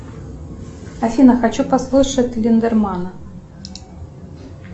афина хочу послушать линдермана